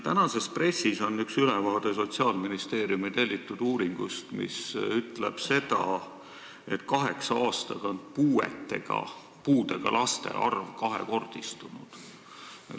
Tänases pressis on ülevaade Sotsiaalministeeriumi tellitud uuringust, mis ütleb, et kaheksa aastaga on puuetega laste arv kahekordistunud.